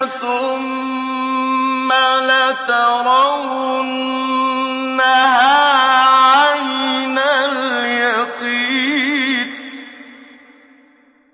ثُمَّ لَتَرَوُنَّهَا عَيْنَ الْيَقِينِ